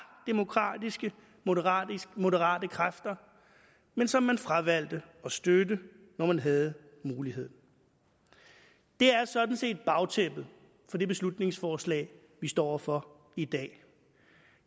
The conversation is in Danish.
demokratiske moderate moderate kræfter men som man fravalgte at støtte når man havde muligheden det er sådan set bagtæppet for det beslutningsforslag vi står over for i dag